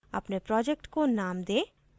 अपने project को name दें